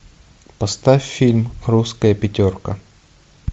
поставь фильм русская пятерка